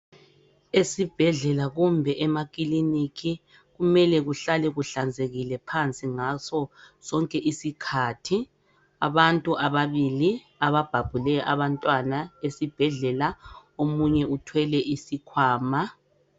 Esibhedlela kumbe emakiliniki kumele kuhlale kuhlanzekile phansi ngaso sonke isikhathi. Abantu ababili ababhabhule abantwana esibhedlela omunye uthwele isikhwama.